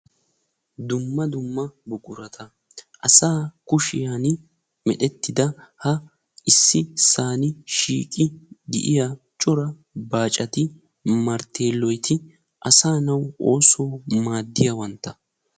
dumma dumma buqurata asaa kushiyan meretidda ha issisan shiiqi uttida bacati narteeloti asaa naa oossuwawu maadiyabata.